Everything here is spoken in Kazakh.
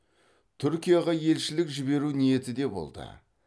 түркияға елшілік жіберу ниеті де болды